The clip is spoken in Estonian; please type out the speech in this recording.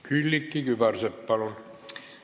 Külliki Kübarsepp, palun!